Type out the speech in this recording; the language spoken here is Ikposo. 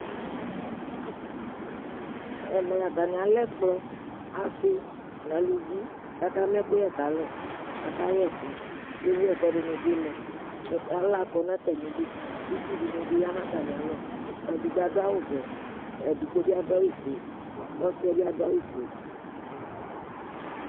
ɛmɛ atani alɛ ɛkplɔ asii nʋ alʋvi kʋ aka ma ɛkʋyɛ kalɛ, akayɛ ɛkʋ ɛwʋɛkuɛdini bi lɛ, ala kɔnʋ atami idʋ kʋ itsʋ dinibi yanʋ atami alɔ, ɛdigbɔ adʋ awʋ vɛ, ɛdigbɔ bi adʋawʋ ƒʋɛ kʋ ɔsiiɛ bi adʋ awʋ ƒʋɛ